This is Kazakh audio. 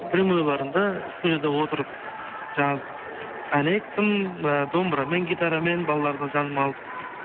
прямойларымды студияда отырып ән айттым ы домбырамен гитарамен балаларды жаныма алып